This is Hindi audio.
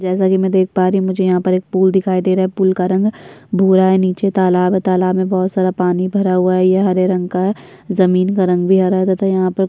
जैसा कि मैं देख पा रही हूँ मुझे यहाँ पर पुल दिखाई दे रहा पुल का रंग भूरा है नीचे तालाब तालाब में बहोत सारा पानी भरा हुआ ये हरे रंग का जमीन का रंग भी हरा तथा यहाँ पर --